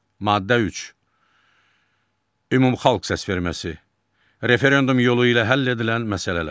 Maddə üç, ümumxalq səsverməsi, referendum yolu ilə həll edilən məsələlər.